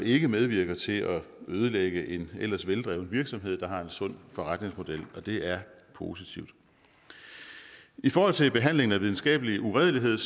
ikke medvirker til at ødelægge en ellers veldrevet virksomhed der har en sund forretningsmodel og det er positivt i forhold til behandlingen af videnskabelig uredelighed